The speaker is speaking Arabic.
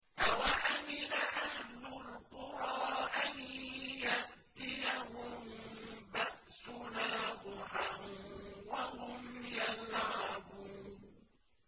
أَوَأَمِنَ أَهْلُ الْقُرَىٰ أَن يَأْتِيَهُم بَأْسُنَا ضُحًى وَهُمْ يَلْعَبُونَ